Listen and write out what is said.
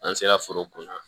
An sera foro kun